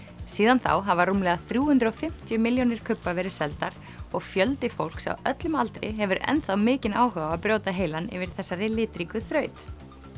síðan þá hafa rúmlega þrjú hundruð og fimmtíu milljónir kubba verið seldar og fjöldi fólks á öllum aldri hefur enn þá mikinn áhuga á að brjóta heilann yfir þessari litríku þraut